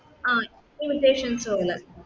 ആ